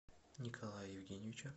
николая евгеньевича